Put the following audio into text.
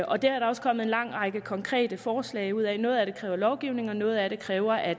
og det er der også kommet en lang række konkrete forslag ud af noget af det kræver lovgivning og noget af det kræver at